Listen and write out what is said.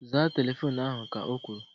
Zaa telefoonu ahu! Ka o kwuru